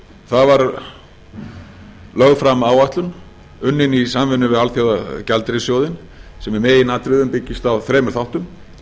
það var lögð fram áætlun unnin í samvinnu við alþjóðagjaldeyrissjóðinn sem í meginatriðum byggist á þremur þáttum